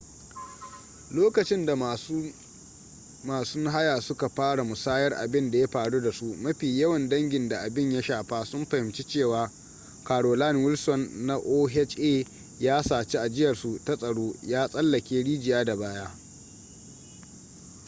lokacin da masu masun haya suka fara musayar abin da ya faru da su mafi yawan dangin da abin ya shafa sun fahimci cewa carolyn wilson na oha ya saci ajiyarsu ta tsaro ya tsallake rijiya da baya